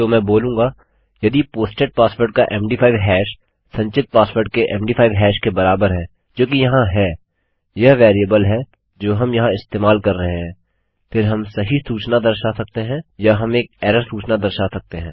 तो मैं बोलूँगा यदि पोस्टेड पासवर्ड का मद5 हैश संचित पासवर्ड के मद5 हैश के बराबर है जोकि यहाँ है यह वेरिएबल है जो हम यहाँ इस्तेमाल कर रहे हैं फिर हम सही सूचना दर्शा सकते हैं या हम एक एरर सूचना दर्शा सकते हैं